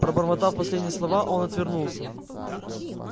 пробормотав последние слова он отвернулся